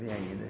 tem ainda.